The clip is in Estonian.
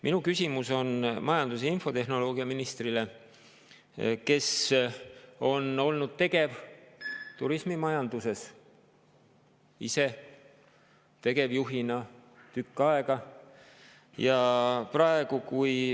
Minu küsimus on majandus‑ ja infotehnoloogiaministrile, kes on olnud turismimajanduses tegevjuhina tegev tükk aega.